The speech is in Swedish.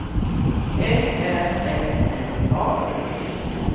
L Ä M N A